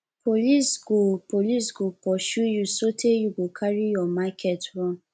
police go police go pursue you sotee you go carry your market run